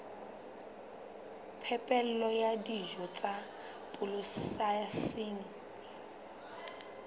phepelo ya dijo tsa polasing